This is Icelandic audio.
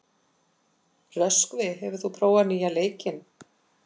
Röskvi, hefur þú prófað nýja leikinn?